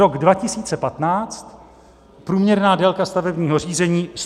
Rok 2015 - průměrná délka stavebního řízení 143 dnů.